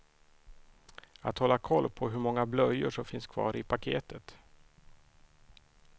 Att hålla koll på hur många blöjor som finns kvar i paketet.